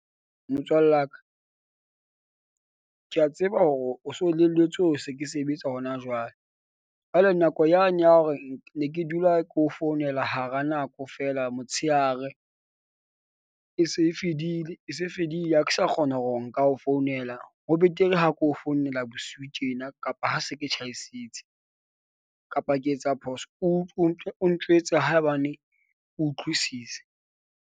Motswallaka ke a tseba hore o so elellwetse, o se ke sebetsa hona jwale. Jwale nako yane ya hore ne ke dula ke o founela hara nako feela motsheare e se e fedile, e se fedile. Ha ke sa kgona hore nka o founela ho betere ha ko o founela bosiu tjena kapa ha se ke tjhaisitse kapa ke etsa phoso? o o njwetse haebane o utlwisisa.